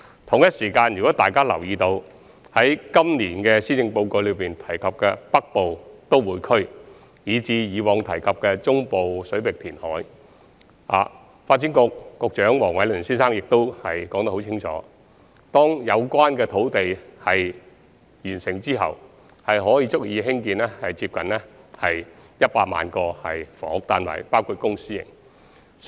同時，如有留意今年施政報告提及的北部都會區，以至過往提及的中部水域填海工程，當可知道發展局局長黃偉綸先生已很清楚說明，有關的土地開拓工程完成後，將足以興建接近100萬個房屋單位，包括公私營單位。